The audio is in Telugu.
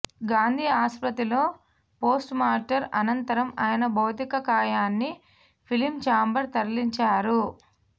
గాంధీ ఆసుపత్రిలో పోస్ట్మార్టం అనంతరం ఆయన భౌతిక కాయాన్ని ఫిలిం చాంబర్ తరలించారు